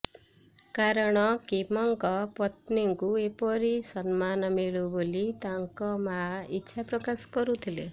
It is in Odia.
କାରଣ କିମଙ୍କ ପତ୍ନୀଙ୍କୁ ଏପରି ସମ୍ମାନ ମିଳୁ ବୋଲି ତାଙ୍କ ମା ଇଚ୍ଛା ପ୍ରକାଶ କରିଥିଲେ